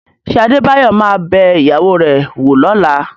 Ṣé Adébáyọ̀ ma bẹ ìyàwó rẹ̀ wò lọ́la?